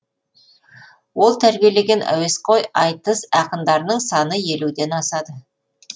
ол тәрбиелеген әуесқой айтыс ақындарының саны елуден асады